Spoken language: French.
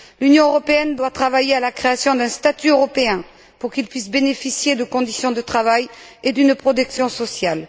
L'Union européenne doit travailler à la création d'un statut européen pour qu'ils puissent bénéficier de conditions de travail et d'une protection sociale.